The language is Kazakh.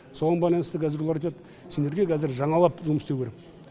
соған байланысты қазір олар айтады сендерге қазір жаңалап жұмыс істеу керек